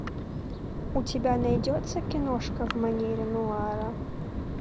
у тебя найдется киношка в манере нуара